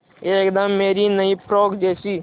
एकदम मेरी नई फ़्रोक जैसी